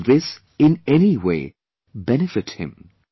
Will this, in anyway, benefit him